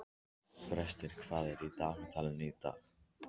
Brestir, hvað er í dagatalinu í dag?